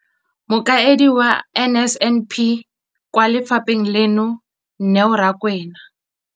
Mokaedi wa NSNP kwa lefapheng leno, Neo Rakwena,